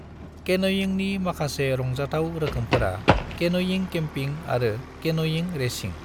केन'यिंनि माखासे रंजाथाव रोखोमफोरा केन'यिं केम्पिं आरो केन'यिं रेसिं।